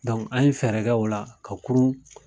an ye fɛɛrɛ kɛ o la ka kurun